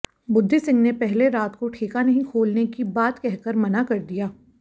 बुद्धि सिंह ने पहले रात को ठेका नहीं खोलने की बात कहकर मना कर दिया